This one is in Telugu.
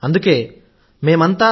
అందుకే మేమందరం